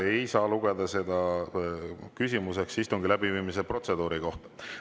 Ei saa lugeda seda küsimuseks istungi läbiviimise protseduuri kohta.